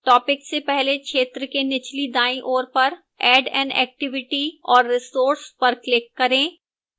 topics से पहले क्षेत्र के निचली दाईं ओर पर add an activity or resource पर click करें